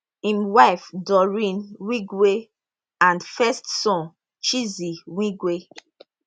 im wife doreen wigwe and first son chizi wigwe